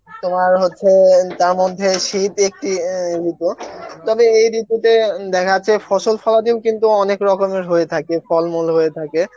তোমার হচ্ছে তার মধ্যে শীত একটি এন ঋতু তবে এই ঋতুতে দেখা যাচ্ছে ফসল ফলাদি ও কিন্তু অনেক রকমের হয়ে থাকে, ফল মূল হয়ে থাকে